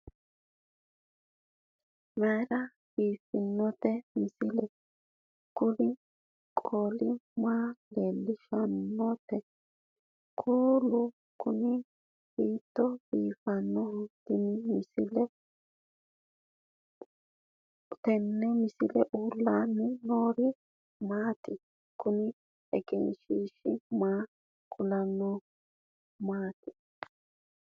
mayra biiffinote misile? kuri qole maa leellishannoreeti? kuulu kuni hiittooho biifannoho tenne misilehu? uullaanni noori maati? kuni egenshiishishi maa kulannohoikka maati